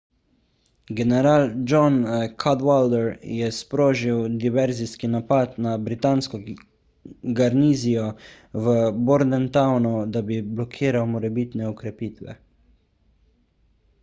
general john cadwalder je sprožil diverzijski napad na britansko garnizijo v bordentownu da bi blokiral morebitne okrepitve